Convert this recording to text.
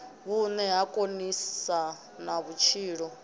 vhune ha konisa na vhutshilo